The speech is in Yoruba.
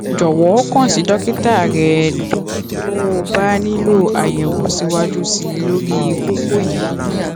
jọwọ kàn sí dókítà rẹ tó tó o bá nílò àyẹwò síwájú sí i lórí kókó yìí